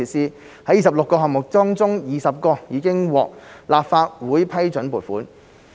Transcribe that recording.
在26個項目中 ，20 個已獲立法會批准撥款。